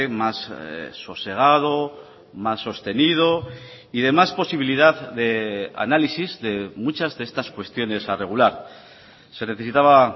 más sosegado más sostenido y de más posibilidad de análisis de muchas de estas cuestiones a regular se necesitaba